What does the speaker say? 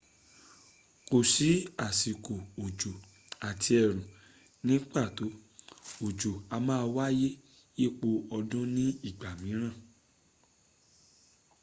kò sí àsìkò òjò” àti ẹ̀rùn” ní pàtó: òjò̀ a máa wáyé yípo ọdún ní ìgbàmìíràn